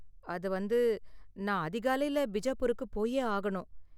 அது வந்து, நான் அதிகாலையில பிஜாப்பூருக்கு போயே ஆகணும்.